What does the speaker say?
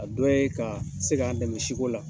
A dɔw ye ka se ka'an dɛmɛ si ko la